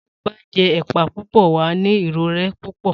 Tí ó bá jé èpá púpõ, wàá ní ìrõré púpõ